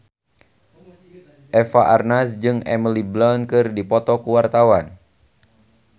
Eva Arnaz jeung Emily Blunt keur dipoto ku wartawan